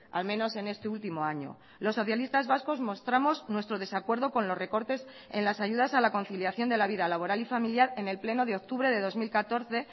al menos en este último año los socialistas vascos mostramos nuestro desacuerdo con los recortes en las ayudas a la conciliación de la vida laboral y familiar en el pleno de octubre de dos mil catorce